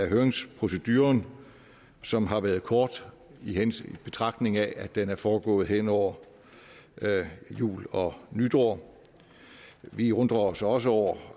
høringsproceduren som har været kort i betragtning af at den er foregået hen over jul og nytår vi undrer os også over